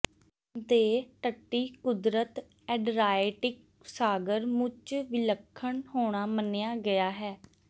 ਦੇ ਤੱਟੀ ਕੁਦਰਤ ਐਡਰਿਆਟਿਕ ਸਾਗਰ ਮੁੱਚ ਵਿਲੱਖਣ ਹੋਣਾ ਮੰਨਿਆ ਗਿਆ ਹੈ